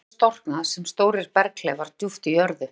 Granít hefur storknað sem stórir berghleifar djúpt í jörðu.